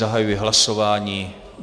Zahajuji hlasování.